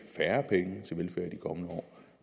kommende år